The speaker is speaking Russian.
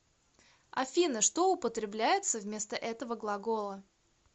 афина что употребляется вместо этого глагола